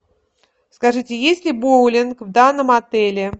скажите есть ли боулинг в данном отеле